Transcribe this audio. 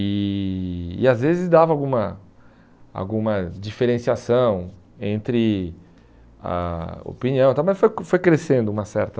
E e às vezes dava alguma alguma diferenciação entre a opinião, também foi cres foi crescendo uma certa...